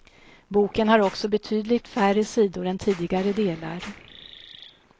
Boken har också betydligt färre sidor än tidigare delar.